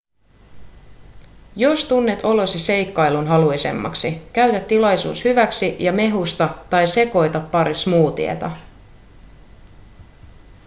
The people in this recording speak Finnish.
jos tunnet olosi seikkailunhaluisemmaksi käytä tilaisuus hyväksi ja mehusta tai sekoita pari smoothieta